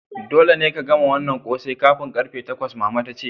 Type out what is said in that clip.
Dolle ka gama wanan kose kafin karfe takwas! mama ta ce.